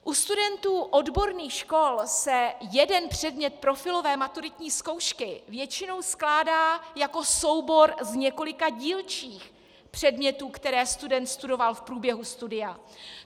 U studentů odborných škol se jeden předmět profilové maturitní zkoušky většinou skládá jako soubor z několika dílčích předmětů, které student studoval v průběhu studia.